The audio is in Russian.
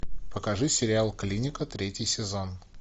покажи сериал клиника третий сезон